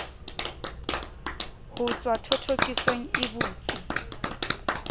ho tswa thothokisong e botsi